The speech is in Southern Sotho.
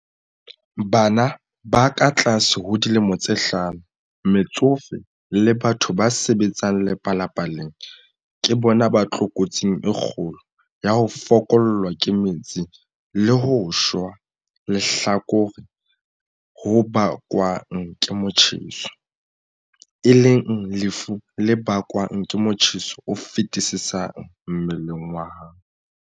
Bana ba katlase ho dilemo tse hlano, metsofe le batho ba sebetsang lepalapaleng ke bona ba tlokotsing e kgolo ya ho fokollwa ke metsi le ho shwa lehlakore ho bakwang ke motjheso, e leng lefu le bakwang ke motjheso o feti-sisang mmeleng wa hao.